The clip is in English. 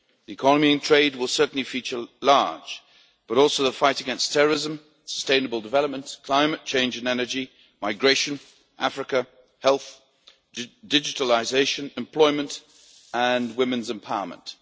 Economy and trade will certainly feature large, but also the fight against terrorism, as well sustainable development, climate change and energy, migration, Africa, health, digitalisation, employment and women's empowerment.